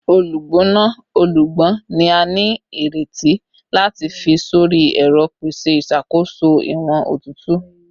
Olugbona ọlọgbọn ni a nireti lati fi sori ẹrọ, pese iṣakoso iwọn otutu